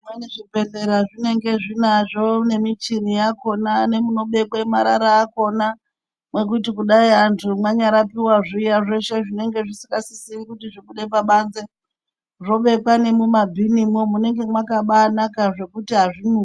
Zvimweni zvibhedhlera zvinenge zvinazvo nemichini yakona munobekwe marara akona ekuti vantu kudai mwanyarapiwa zveshe zvinenge zvisingasisi kuti zvibude pabanze zvobekwe nemumabhinimo munenge makabaanaka zvekuti antu azvinesi.